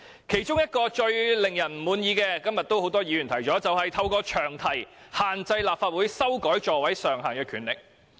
其中最令人不滿的做法，今天很多議員均有提到，便是利用詳題限制立法會修改座位上限的權力。